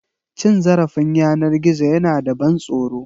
Cin zarafin yanar gizo yana da ban tsoro.